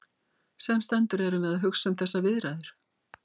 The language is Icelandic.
Sem sendur erum við að hugsa um þessar viðræður.